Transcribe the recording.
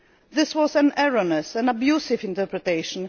This was an erroneous and abusive interpretation.